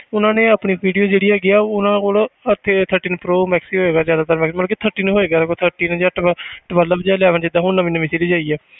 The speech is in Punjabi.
ਉਹਨਾਂ ਨੇ ਆਪਣੀ video ਜਿਹੜੀ ਹੈਗੀ ਆ ਉਹ ਨਾ ਉਹ ਨਾ ਆਹ ਤੇ thirteen pro max ਹੀ ਹੋਏਗਾ ਜ਼ਿਆਦਾਤਰ ਮਤਲਬ thirteen ਹੋਏਗਾ thirteen ਨੀ ਜਾਂ ਤਾਂ twelve ਜਾਂ eleven ਜਿੱਦਾਂ ਹੁਣ ਨਵੀਂ ਨਵੀਂ series ਆਈ ਹੈ